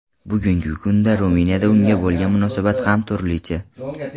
Bugungi kunda Ruminiyada unga bo‘lgan munosabat ham turlicha.